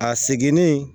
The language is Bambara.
A seginni